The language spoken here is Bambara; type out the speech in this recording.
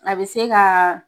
A bɛ se ka